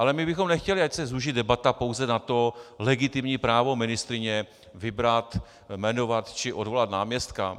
Ale my bychom nechtěli, ať se zúží debata pouze na to legitimní právo ministryně vybrat, jmenovat či odvolat náměstka.